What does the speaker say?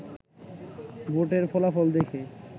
ভোটের ফলাফল দেখে